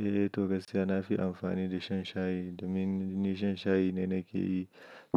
Eh, eh, to gaskiya na fi amfani da shan shayi domin ni shan shayi ne na ke yi.